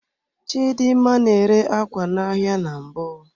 Chidimma na-ere ákwá n'ahịa na mbụ.